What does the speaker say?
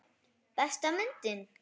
Besta myndin?